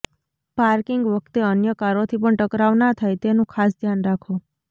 parking વખતે અન્ય કારોથી પણ ટકરાવ ના થાય તેનું ખાસ ધ્યાન રાખો